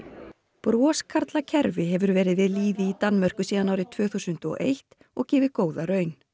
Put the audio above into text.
broskarla kerfi hefur verið við lýði í Danmörku síðan árið tvö þúsund og eitt og gefið góða raun